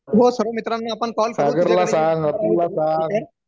हो सर्व मित्रांना आपण कॉल